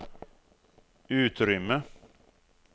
utrymme